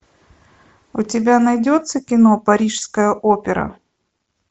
у тебя найдется кино парижская опера